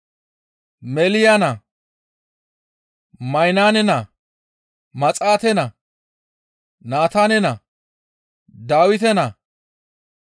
Meeliya naa, Maynaane naa, Maxaate naa, Naataane naa, Dawite naa,